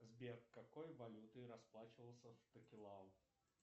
сбер какой валютой расплачивался в токелау